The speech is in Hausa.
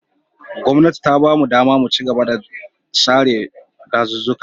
Gwamnatin ta ba mu ɗama mu chigaba da sare ɗazuzzuka.